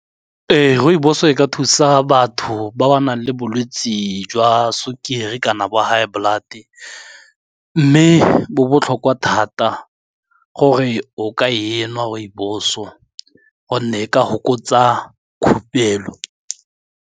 Ee, rooibos e ka thusa batho ba ba nang le bolwetse jwa sukiri kana ba high blood-e mme bo botlhokwa thata gore o ka e nwa rooibos-o gonne e ka fokotsa khupelo.